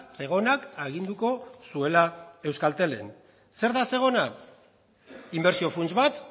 zegonak aginduko zuela euskatelen zer da zegona inbertsio funts bat